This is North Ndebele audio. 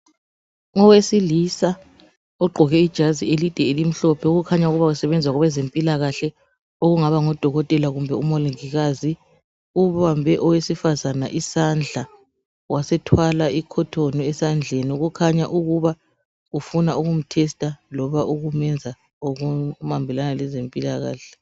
Owesilisa ogqoke ijazi elide elimhlophe okukhanya ukuba usebenza kwabezempilakahle okungaba ngudokotela kumbe umongikazi. Ubambe owesifazane isandla, wasethwala i"cotton" esandleni okukhanya ukuba ufuna ukumthesita loba ukumenza okuhambelana lezempilakahle.